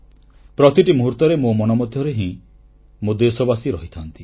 ପ୍ରତିଟି ମୁହୂର୍ତ୍ତରେ ମୋ ମନ ମଧ୍ୟରେ ହିଁ ମୋ ଦେଶବାସୀ ରହିଥାନ୍ତି